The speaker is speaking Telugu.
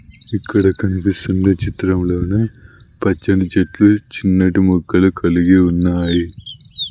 ఇక్కడ కనిపిస్తున్న చిత్రంలోన పచ్చని చెట్లు చిన్నటి మొక్కలు కలిగి ఉన్నాయి.